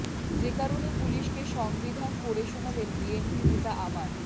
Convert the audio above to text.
যে কারণে পুলিশকে সংবিধান পড়ে শোনালেন বিএনপি নেতা আমান